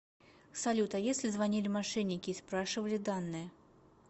салют а если звонили мошенники и спрашивали данные